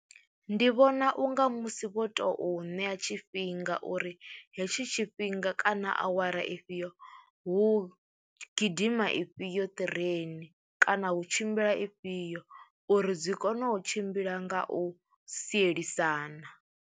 Ndi vhona u nga musi vho tou ṋea tshifhinga uri hetshi tshifhinga kana awara ifhio hu gidima ifhio ṱireni kana hu tshimbila ifhio, uri dzi kone u tshimbila nga u sielisana.